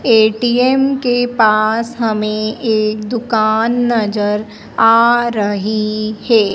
ATM के पास हमें एक दुकान नजर आ रही है।